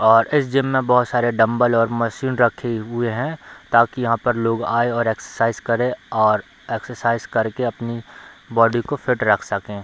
और इस जिम में बहोत सारे डंबल और मशीन रखी हुए हैं ताकि यहाँ पर लोग आए और एक्सरसाइज करे और एक्सरसाइज करके अपनी बॉडी को फिट रख सके।